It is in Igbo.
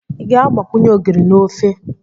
Ị ga-agbakwunye ogiri na ofe?